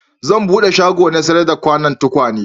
Zan bude shago na sayar da tukwane